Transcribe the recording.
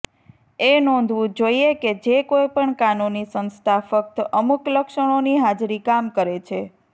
એ નોંધવું જોઇએ કે જે કોઈપણ કાનૂની સંસ્થા ફક્ત અમુક લક્ષણોની હાજરી કામ કરે છે